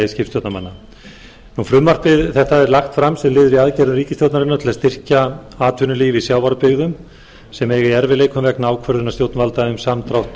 skipstjórnarmanna frumvarp þetta er lagt fram sem liður í aðgerðum ríkisstjórnarinnar til að styrkja atvinnulíf í sjávarbyggðum sem eiga í erfiðleikum vegna ákvörðunar stjórnvalda um samdrátt